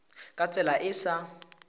ka tsela e e sa